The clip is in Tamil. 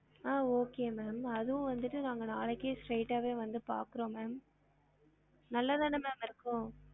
ஆஹ் okay ma'am அதுவும் வந்திட்டு நாங்க நாளைக்கே straight ஆவே வந்து பாக்குறோம் ma'am நல்லா தான ma'am இருக்கும்